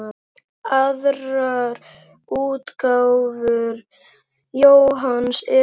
Aðrar útgáfur Jóhanns eru